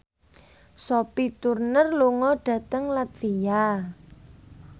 Sophie Turner lunga dhateng latvia